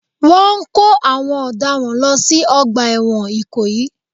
Wọ́n ń kó àwọn ọ̀daràn lọ sí Ọgbà ẹ̀wọ̀n ikoyi